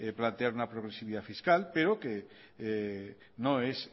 plantear una progresividad fiscal pero que no es